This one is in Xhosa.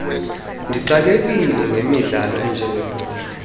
ndixakekile ngemidlalo enjengebhola